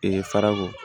farako